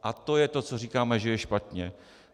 A to je to, co říkáme, že je špatně.